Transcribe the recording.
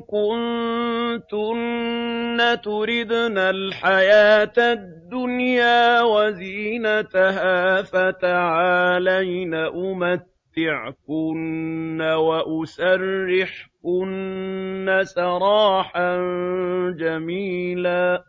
كُنتُنَّ تُرِدْنَ الْحَيَاةَ الدُّنْيَا وَزِينَتَهَا فَتَعَالَيْنَ أُمَتِّعْكُنَّ وَأُسَرِّحْكُنَّ سَرَاحًا جَمِيلًا